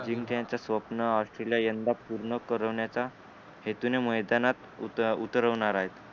जिंकण्याच स्वप्न असलेल यंदा पूर्ण करवण्याचा हेतूने मैदानात उत उतरवणार आहेत